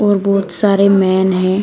और बहुत सारे मैन हैं।